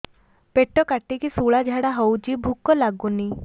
ପେଟ କାଟିକି ଶୂଳା ଝାଡ଼ା ହଉଚି ଭୁକ ଲାଗୁନି